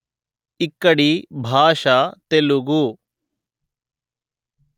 ఇక్కడి భాష తెలుగు